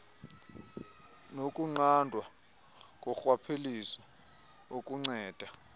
nokunqandwa korhwaphilizo okunceda